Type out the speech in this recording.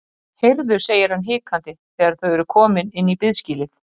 Heyrðu, segir hann hikandi þegar þau eru komin inn í biðskýlið.